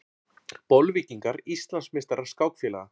Bolvíkingar Íslandsmeistarar skákfélaga